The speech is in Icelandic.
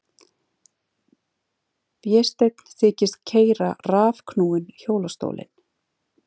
Vésteinn þykist keyra rafknúinn hjólastólinn.